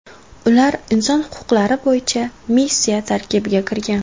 Ular inson huquqlari bo‘yicha missiya tarkibiga kirgan.